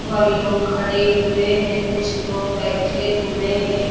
और इ लोग खड़े हुए हैं कुछ लोग बैठे हुए हैं।